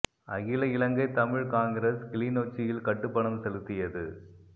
அகில இலங்கை தமிழ்க் காங்கிரஸ் கிளிநொச்சியில் கட்டுப்பணம் செலுத்தியது